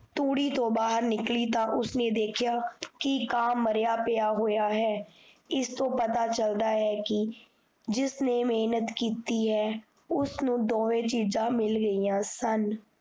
ਤੁੜ੍ਹੀ ਤੋ ਬਾਹਰ ਨਿਕਲੀ ਤਾਂ ਉਸਨੇ ਦੇਖਿਆ ਕੀ ਕਾ ਮਰਿਆ ਪਿਆ ਹੈ ਇਸ ਤੋਂ ਪਤਾ ਚਲਦਾ ਹੈ, ਕੀ ਜਿਸਨੇ ਮੇਹਨਤ ਕੀਤੀ ਹੈ, ਉਸਨੁ ਦੋਵੇ ਚੀਜਾਂ ਮਿਲ ਗੇਆਂ ਸਨ